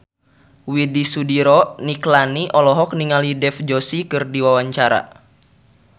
Widy Soediro Nichlany olohok ningali Dev Joshi keur diwawancara